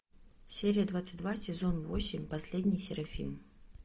серия двадцать два сезон восемь последний серафим